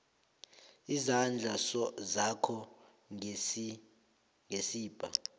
izandla zakho ngesibha